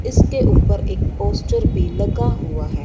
इसके ऊपर एक पोस्टर भी लगा हुआ है।